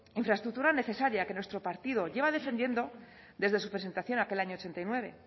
infraestructura necesaria que nuestro partido lleva defendiendo desde su presentación aquel año ochenta y nueve